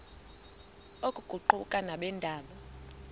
oku kuquka nabeendaba